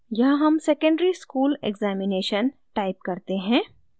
यहाँ हम secondary school examination type करते हैं